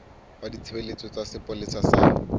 ba ditshebeletso tsa sepolesa sa